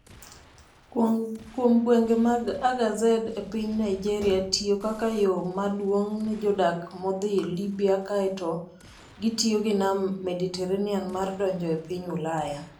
Kuom gwenge mag Agadez e piny Niger tiyo kaka yo maduong' ne jodak modhi Libya kaeto gitiyo gi Nam Mediterranean mar donjo e piny Ulaya.